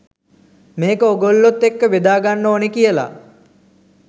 මේක ඕගොල්ලොත් එක්ක බෙදා ගන්න ඕනේ කියලා.